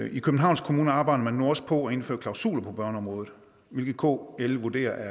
i københavns kommune arbejder man nu også på at indføre klausuler på børneområdet hvilket kl vurderer er